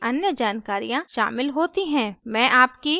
मैं आपकी प्रतिक्रिया जानना चाहूंगी